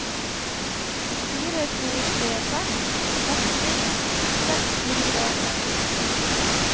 fire to tre seks seksti seks hundre og åttiåtte